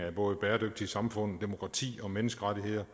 af både bæredygtige samfund demokrati og menneskerettigheder